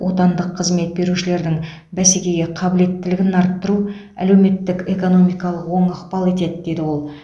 отандық қызмет берушілердің бәсекеге қабілеттілігін арттыру әлеуметтік экономикалық оң ықпал етеді деді ол